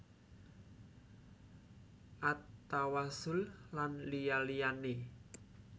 At Tawassul lan liya liyane